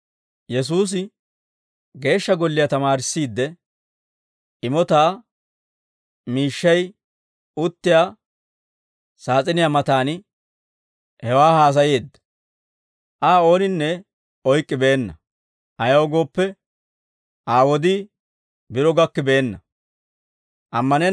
Yesuusi Geeshsha Golliyaa tamaarissiidde, imotaa miishshay uttiyaa saas'iniyaa matan hewaa haasayeedda. Aa ooninne oyk'k'ibeenna; ayaw gooppe, Aa wodii biro gakkibenna.